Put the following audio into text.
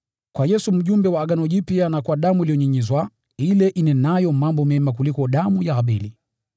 kwa Yesu mpatanishi wa agano jipya, na kwa damu iliyonyunyizwa, ile inenayo mambo mema kuliko damu ya Abeli.